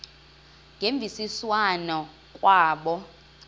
ngemvisiswano r kwabo